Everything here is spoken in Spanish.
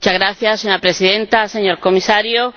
Señora Presidenta, Señor Comisario,